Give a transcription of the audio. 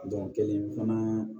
kelen fana